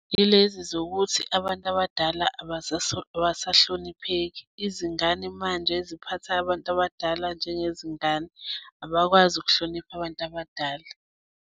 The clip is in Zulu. Yilezi zokuthi abantu abadala abasahlonipheki. Izingane manje ziphatha abantu abadala njengezingane, abakwazi ukuhlonipha abantu abadala.